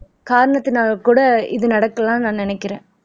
காரணத்தினால கூட இது நடக்கலாம்னு நான் நினைக்கிறேன்